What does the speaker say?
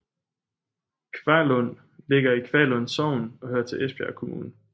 Kvaglund ligger i Kvaglund Sogn og hører til Esbjerg Kommune